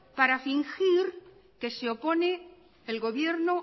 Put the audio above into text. para fingir que se opone el gobierno